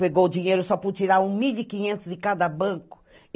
Pegou dinheiro só podia tirar mil e quinhentos de cada banco.